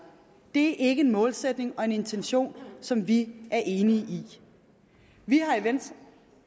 er ikke en målsætning og en intention som vi er enige i vi har i venstre